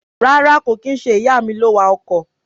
Rárá kò kín nṣe ìyàmi ló wa ọkọ̀.